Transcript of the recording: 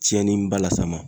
Tiɲɛniba las'a ma.